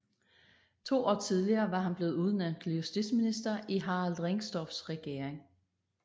To år tidligere var han blevet udnævnt til justitsminister i Harald Ringstorffs regering